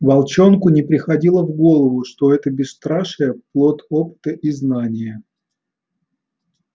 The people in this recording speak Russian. волчонку не приходило в голову что это бесстрашие плод опыта и знания